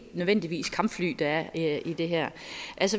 nødvendigvis kampfly der er i det her